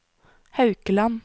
Haukeland